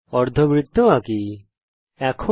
একটি অর্ধবৃত্ত আঁকা যাক